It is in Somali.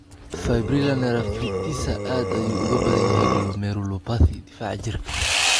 Fibrila neraphritisa aad ayuu uga badan yahay glomerulopathy difaaca jirka.